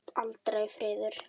Aldrei friður.